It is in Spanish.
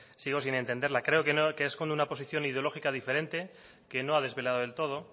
sigo sin entenderla creo que no que esconde una posición ideológica diferente que no ha desvelado del todo